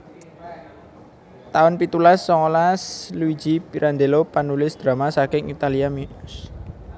taun pitulas songolas Luigi Pirandello panulis drama saking Italia miyos